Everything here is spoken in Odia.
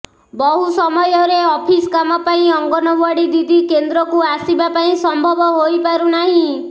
ବହୁ ସମୟରେ ଅଫିସ୍ କାମ ପାଇଁ ଅଙ୍ଗନୱାଡି ଦିଦି କେନ୍ଦ୍ରକୁ ଆସିବା ପାଇଁ ସମ୍ଭବ ହୋଇପାରୁ ନାହିଁ